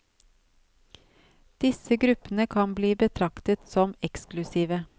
Disse gruppene kan bli betraktet som eksklusive.